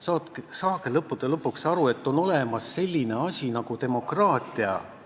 Saage lõppude lõpuks aru, et on olemas selline asi nagu demokraatia.